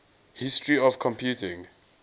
history of computing